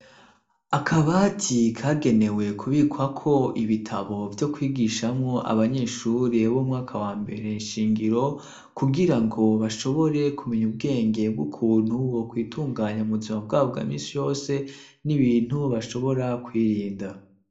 Akabati kagenewe kubikwa ko ibitabo vyo kwigishamo abanyeshure b'umwaka wa mbere nshingiro kugira ngo bashobore kumenya ubwenge bw'ukuntu wo kwitunganya mu buzima bwabwo bwa misi yose n'ibintu bashobora kwirinda.